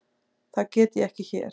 Það get ég ekki hér.